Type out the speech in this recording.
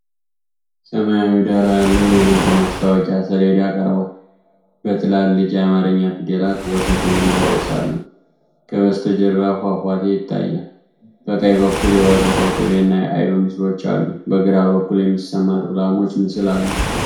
ሰማያዊ ዳራ ያለው የንግድ ማስታወቂያ ሰሌዳ ቀርቧል። በትላልቅ የአማርኛ ፊደላት 'ወተት' የሚል ርዕስ አለው። ከበስተጀርባ ፏፏቴ ይታያል። በቀኝ በኩል የወተት፣ የቅቤና አይብ ምስሎች አሉ። በግራ በኩል የሚሰማሩ ላሞች ምስል አሉ።